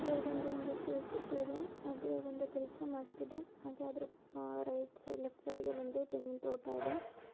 ಇದ್ರಲ್ಲಿ ಬಂದು ಒಂದು ಜೆ.ಸಿ.ಬಿ. ಇದೆ. ಅದು ಒಂದು ಕೆಲಸ ಮಾಡ್ತಿದೆ ಹಾಗೆ ಅದ್ರ ಆಹ್ ರೈಟ್ ಸೈಡ್ ಲೆಫ್ಟ್ ಸೈಡಗೆ ಒಂದು ತೆಂಗಿನ ತೋಟ ಇದೆ.